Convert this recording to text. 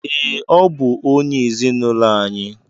Ee, ọ bụ onye ezinụlọ anyị.